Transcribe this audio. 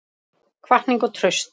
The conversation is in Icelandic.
Hvatning og traust